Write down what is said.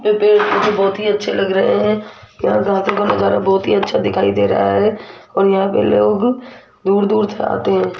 ये पेड़ मुझे बहुत ही अच्छे लग रहे हैं यहां का नजारा बहुत ही अच्छा दिखाई दे रहा है और यहां पे लोग दूर दूर से आते हैं।